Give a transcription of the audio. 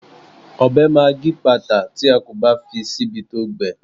Ọbẹ̀ máa gípàtà tí a kò bá fi síbi tó gbẹ.